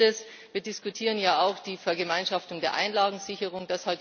Und ein Letztes Wir diskutieren ja auch die Vergemeinschaftung der Einlagensicherung.